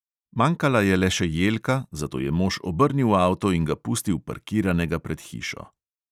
Manjkala je le še jelka, zato je mož obrnil avto in ga pustil parkiranega pred hišo.